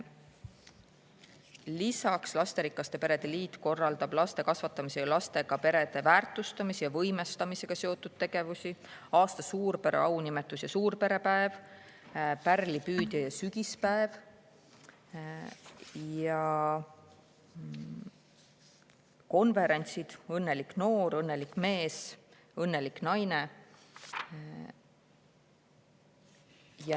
Lisaks, lasterikaste perede liit korraldab laste kasvatamise ja lastega perede väärtustamise ja võimestamisega seotud tegevusi, nagu aasta suurpere aunimetus ja suurperepäev, "Pärlipüüdja" ja sügisene perepäev ning konverentsid "Õnnelik noor", "Õnnelik mees" ja "Õnnelik naine".